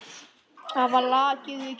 Hafa lakið við kinn.